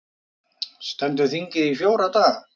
Stendur þingið í fjóra daga